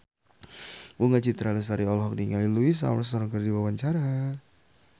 Bunga Citra Lestari olohok ningali Louis Armstrong keur diwawancara